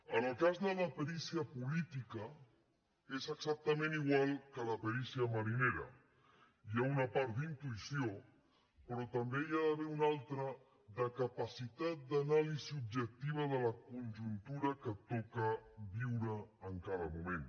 en el cas de la perícia política és exactament igual que la perícia marinera hi ha una part d’intuïció però també n’hi ha d’haver una altra de capacitat d’anàlisi objectiva de la conjuntura que et toca viure en cada moment